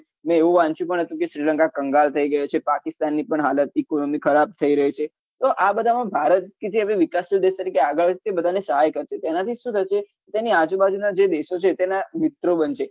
મેં એવું વાંચ્યું પણ હતું કે શ્રીલંકા કંગાળ થઇ રહ્યું છે પાકિસ્તાન ની પણ હાલત economy ખરાબ થઇ રહી છે તો આ બધામાં ભારત કે જે હવે વિકાસશીલ દેશ તરીકે આગળ જ છે બધાને સહાય કરશે તો એના થી શું થશે તેની આજુબાજુ જે દેશો છે તેના મિત્રો બનશે